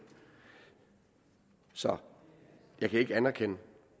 så jeg kan ikke anerkende